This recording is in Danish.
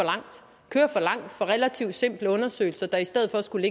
er langt for relativt simple undersøgelser der i stedet for skulle